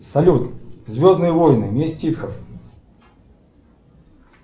салют звездные войны месть ситхов